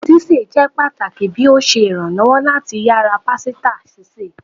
Sise jẹ pataki bi o ṣe iranlọwọ lati yara pasita sise